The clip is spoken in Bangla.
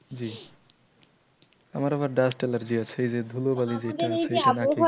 জি আমার আবার dust allergy আছে এইযে ধুলো বালি